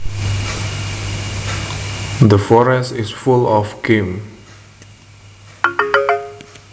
The forest is full of game